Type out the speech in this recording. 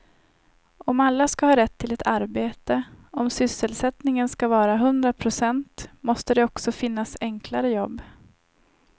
Om alla ska ha rätt till ett arbete, om sysselsättningen ska vara hundra procent måste det också finnas enklare jobb.